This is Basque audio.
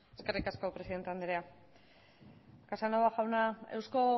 eskerrik asko presidente anderea casanova jauna eusko